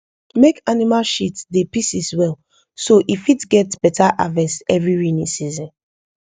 make animal shit dey pieces well so e fit get beta harvest every raining season